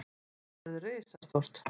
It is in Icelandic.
Þetta verður risastórt.